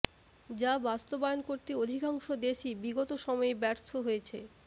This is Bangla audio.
যা বাস্তবায়ন করতে অধিকাংশ দেশই বিগত সময়ে ব্যর্থ হয়েছে